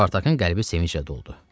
Spartakın qəlbi sevinclə doldu.